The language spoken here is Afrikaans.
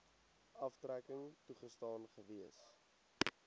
aftrekking toegestaan gewees